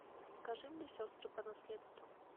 покажи мне сестры по наследству